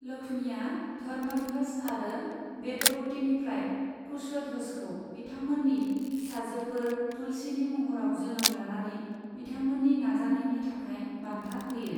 लक्ष्मीआ धर्मध्वज आरो बेदबतीनिफ्राय कुशध्वजखौ बिथांमोननि फिसाजोफोर तुलसीनि महराव जोनोम लानानै बिथांमोननि नाजानायनि थाखाय बान्था होयो।